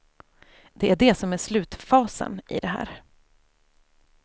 Det är det som är slutfasen i det här.